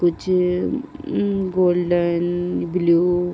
कुछ um golden blue --